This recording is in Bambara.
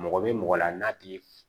Mɔgɔ bɛ mɔgɔ la n'a ti